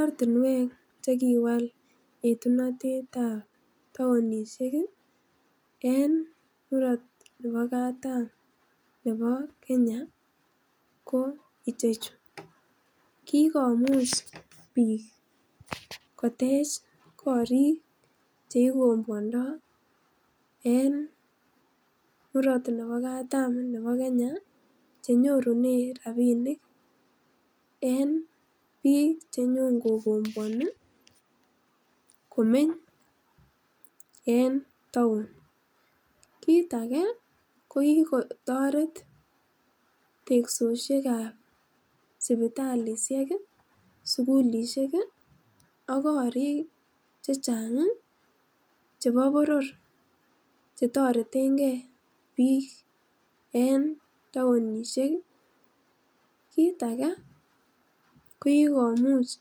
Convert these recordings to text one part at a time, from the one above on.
Ortinwek chekiwal yetunotetab townishek kii en murot nebo katam nebo Kenya ko ichechu, kikomach nik kotech korik cheikobwondo en murot nebo katam nebo Kenya chenyorunen rabinik en bik chenyon kokobwoni komeny en town. Kit aket ko kikotoret teksosiekab sipitalishek kii sukulishek kiiak kori chechang chebo boror chetoreten gee bik en townishek, kit age ko kikomuch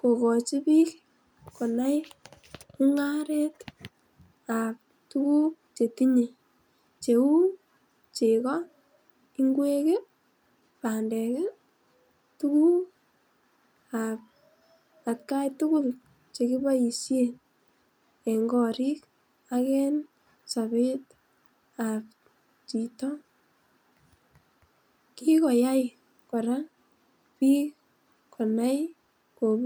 kokochi bik konai mungaretab tukuk chetinye kou chego, ingwek , pandek tukuk ab atgai tukuk chekiboishen en korik ak en sobet ab chito. Kikoyai koraa bik konai kobur .